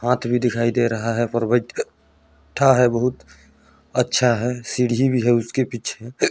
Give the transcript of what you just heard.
हाथ भी दिखाई दे रहा है पर्वि बैठा ह बहुत अच्छा है सीढ़ी भी है उसके पीछे ।